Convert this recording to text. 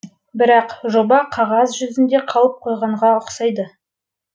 бірақ жоба қағаз жүзінде қалып қойғанға ұқсайды